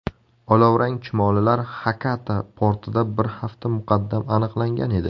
Olovrang chumolilar Xakata portida bir hafta muqaddam aniqlangan edi.